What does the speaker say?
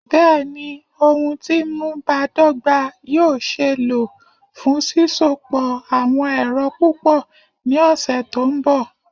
Bẹẹni, ohun ti nmu badọgba yoo ṣee lo fun sisopọ awọn ẹrọ pupọ ni ọsẹ to nbọ